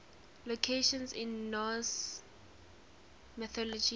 locations in norse mythology